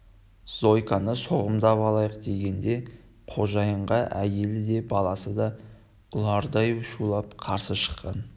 зойканы соғымдап алайық дегенде қожайынға әйелі де баласы да ұлардай шулап қарсы шыққан